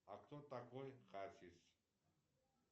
а кто такой хасис